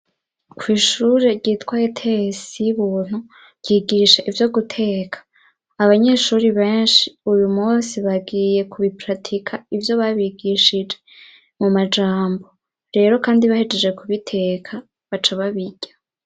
Kw'ishure ryitwa Etesi y'ubuntu ryigisha ivyo guteka, abanyeshuri benshi uyu munsi bagiye kubiparatika ivyo babigishije mu majambo, rero kandi bahejeje kubiteka baca babirya.